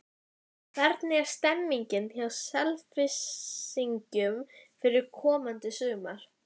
Hvernig er stemmingin hjá Selfyssingum fyrir komandi sumar?